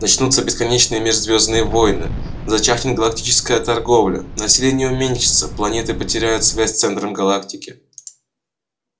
начнутся бесконечные межзвёздные войны зачахнет галактическая торговля население уменьшится планеты потеряют связь с центром галактики